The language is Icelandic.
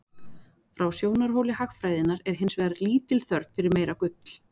Frá sjónarhóli hagfræðinnar er hins vegar lítil þörf fyrir meira gull.